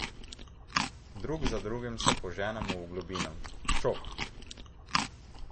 Drug za drugim se poženemo v globino, čof!